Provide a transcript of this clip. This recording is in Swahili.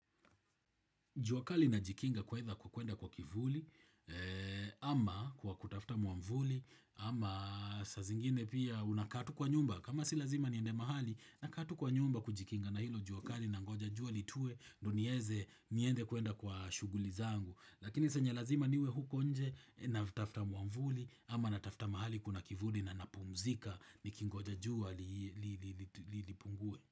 Jua kali najikinga kwa kuenda kwa kivuli, ama kwa kutafuta mwavuli, ama saa zingine pia unakaa tu kwa nyumba. Kama si lazima niende mahali, nakaa tu kwa nyumba kujikinga na hilo jua kali nangoja jua litue, ndio nieze niende kuenda kwa shughuli zangu. Lakini saa yenye lazima niwe huko nje natafuta mwavuli, ama natafuta mahali kuna kivuli na napumzika nikingoja jua lipungue.